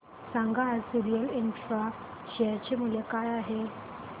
सांगा आज Sorril infra share चे मूल्य काय आहे